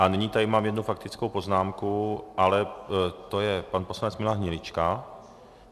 A nyní tady mám jednu faktickou poznámku, ale to je pan poslanec Milan Hnilička.